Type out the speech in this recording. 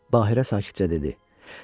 Bahirə sakitcə dedi: